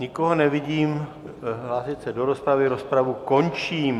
Nikoho nevidím hlásit se do rozpravy, rozpravu končím.